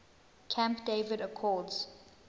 camp david accords